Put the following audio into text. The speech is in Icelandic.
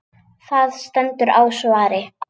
Það stendur á svari.